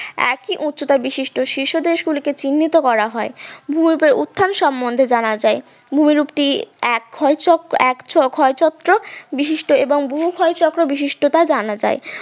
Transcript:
একই উচ্চতা বিশিষ্ট শীর্ষ দেশ গুলিকে চিহ্নিত করা হয় উত্থান সম্বন্ধে জানা যায় ভূমিরূপ টি এক ক্ষয়চক্র এক ক্ষয়চক্র বিশিষ্ট এবং বহু ক্ষয়চক্র বিশিষ্টতা জানা যায়